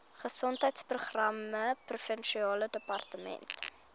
gesondheidsprogramme provinsiale departement